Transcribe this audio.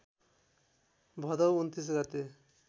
भदौ २९ गते